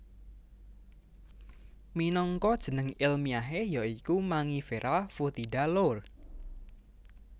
Minangka jeneng elmiahe ya iku Mangifera foetida Lour